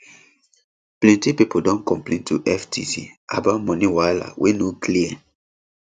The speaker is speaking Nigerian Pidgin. plenty pipo don complain to ftc about money wahala wey no clear